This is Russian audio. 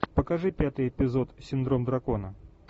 покажи пятый эпизод синдром дракона